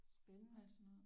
Spændende alt sådan noget